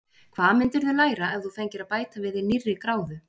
Hvað myndirðu læra ef þú fengir að bæta við þig nýrri gráðu?